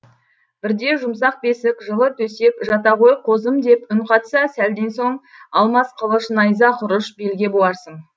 бірде жұмсақ бесік жылы төсек жата ғой қозым деп үн қатса сәлден соң алмас қылыш найза құрыш белге буарсың